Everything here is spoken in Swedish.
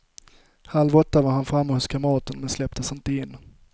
Halv åtta var han framme hos kamraten, men släpptes inte in.